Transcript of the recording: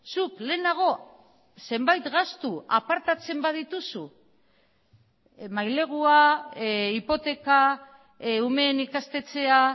zuk lehenago zenbait gastu apartatzen badituzu mailegua hipoteka umeen ikastetxea